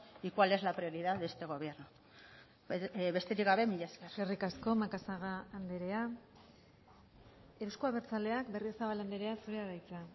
y cuál es la prioridad de este gobierno besterik gabe mila esker eskerrik asko macazaga andrea euzko abertzaleak berriozabal andrea zurea da hitza